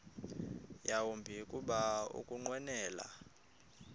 yawumbi kuba ukunqwenela